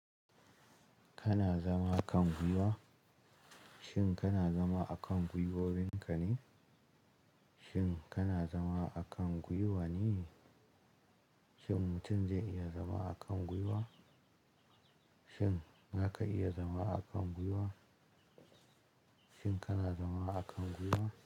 Kana zama kan gwiwa? Shin kana zama akan gwiwowinka ne? Shin kana zama akan gwiwa ne? Shin mutum zai iya zama akan gwiwa? Shin zaka iya zama akan gwiwa? Shin kana zama akan gwiwa?